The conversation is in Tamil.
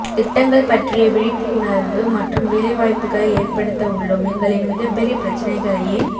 திட்டங்கள் பற்றிய விழிப்புஉணர்வு மற்றும் வேலைவாய்ப்புகளை ஏற்படுத்த உள்ளோம் எங்களின் மிகப்பெரிய பிரச்னைகளையே